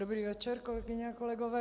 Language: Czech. Dobrý večer, kolegyně a kolegové.